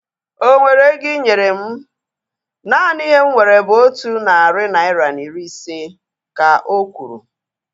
Onwere ego inyere mụ? Naanị ihe m nwere bụ otu narị naira na iri ise, ka okwuru